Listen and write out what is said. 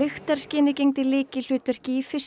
lyktarskynið gegndi lykilhlutverki í